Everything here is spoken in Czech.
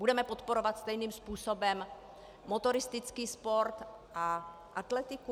Budeme podporovat stejným způsobem motoristický sport a atletiku?